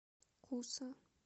куса